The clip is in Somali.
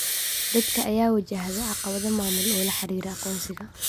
Dadka ayaa wajahaya caqabado maamul oo la xiriira aqoonsiga.